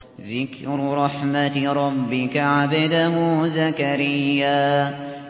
ذِكْرُ رَحْمَتِ رَبِّكَ عَبْدَهُ زَكَرِيَّا